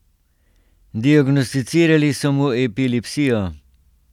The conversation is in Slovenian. Diagnosticirali so mu epilepsijo.